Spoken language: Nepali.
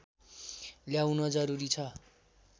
ल्याउन जरुरी छ